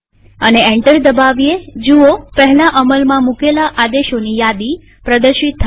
અને એન્ટર દબાવીએજુઓ પહેલા અમલમાં મુકેલા આદેશોની યાદી પ્રદર્શિત થાય છે